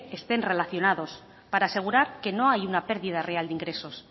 estén relacionados para asegurar que no hay una pérdida real de ingresos